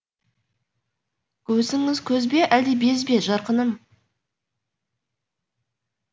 көзіңіз көз бе әлде без бе жарқыным